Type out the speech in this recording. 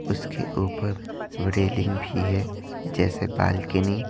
उसके ऊपर रेलिंग भी है जैसे बालकनी --